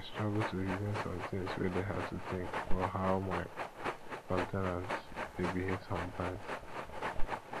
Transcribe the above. i dey struggle to reason some things wey dey hard to think for how my co ten ants dey behave sometimes